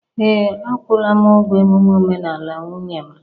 Ee, akwụla m ụgwọ emume omenala nwunye m